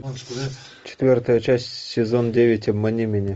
четвертая часть сезон девять обмани меня